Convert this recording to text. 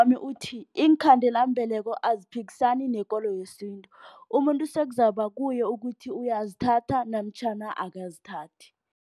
Uthi, iinkhandelambeleko aziphikisana nekolo yesintu. Umuntu sekuzaba kuye ukuthi uyazithatha namtjhana akazithathi.